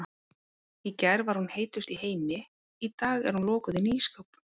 Í gær var hún heitust í heimi, í dag er hún lokuð inni í ísskáp.